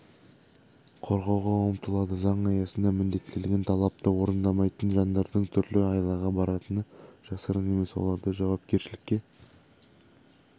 қорғауға ұмтылады заң аясында міндеттелген талапты орындамайтын жандардың түрлі айлаға баратыны жасырын емес оларды жауапкершілікке